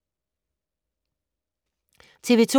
TV 2